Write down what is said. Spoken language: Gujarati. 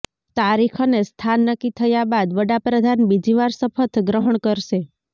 તારીખ અને સ્થાન નક્કી થયા બાદ વડાપ્રધાન બીજી વાર શપથ ગ્રહણ કરશે